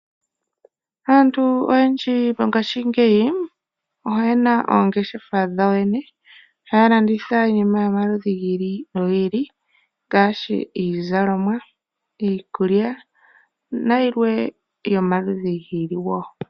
Aantu oyendji moongaashingeyi, oye na oongeshefa dhawo yoyene, ha ya landitha iinima yomaludhi giili nogiili, ngaashi iizalomwa, iikulya, na yilwe yomaludhi giili.